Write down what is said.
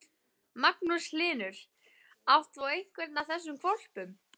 Magnús Hlynur: Átt þú einhvern af þessum hvolpum?